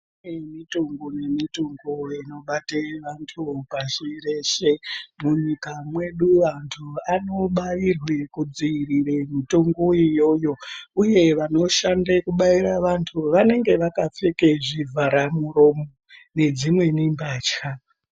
Kune mitombo nemitombo inobate vantu mupashi reshe munyika mwedu antu anobairwa kudziirire mitombo iyoyo uye vanoshande kubaire vantu vanagenga vakapfeka zvivzhara miromo nedzimweni mbatya.